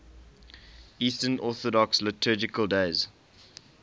eastern orthodox liturgical days